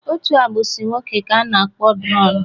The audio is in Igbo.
Otu agbusi nwoke ka a na-akpọ dronu